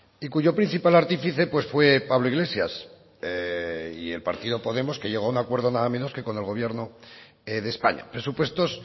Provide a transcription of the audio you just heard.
y cuyo principal artífice pues fue pablo iglesias y el partido podemos que llegó a un acuerdo nada menos que con el gobierno de españa presupuestos